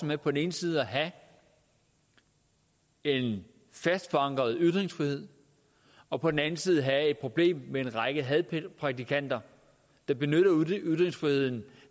med på den ene side at have en fast forankret ytringsfrihed og på den anden side at have et problem med en række hadprædikanter der benytter ytringsfriheden